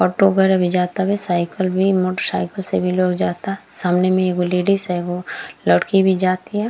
Auto वगेरह भी जातवे साइकिल भी मोटरसाइकिल से भी लोग जाता सामने में एगो लेडिस है एगो लड़की भी जा तिया।